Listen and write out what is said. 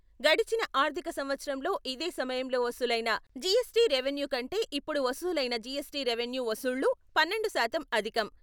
గడచిన ఆర్థిక సంవత్సరంలో ఇదే సమయంలో వసూలైన జీఎస్టీ రెవెన్యూ కంటే ఇప్పుడు వసూలైన జీఎస్టీ రెవెన్యూ వసూళ్ళు పన్నెండు శాతం అధికం.